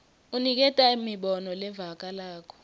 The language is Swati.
unikete imibono levakalako